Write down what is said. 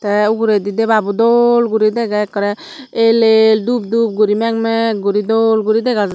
tey ogoredy debabo dol guri dega ak kara el el dup guri mak mak guri dol guri dega jer.